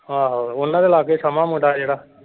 ਆਹੋ ਉਹਨਾਂ ਦੇ ਲਾਗੇ ਸ਼ਮਾ ਮੁੰਡਾ ਜਿਹੜਾ।